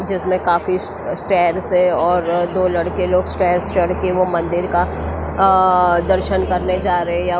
जिसमें काफी स्टेयर्स है और दो लड़के लोग स्टेयर्स चढ़ के वो मंदिर का अ दर्शन करने जा रहे हैं।